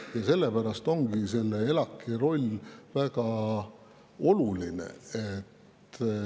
Ja sellepärast ongi ELAK‑i roll väga oluline.